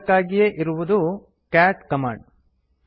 ಇದಕ್ಕಾಗೇ ಇರುವುದು cat command